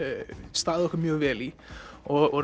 staðið okkur mjög vel í og